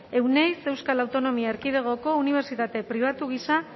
euneiz euskal autonomia erkidegoko unibertsitate pribatu gisa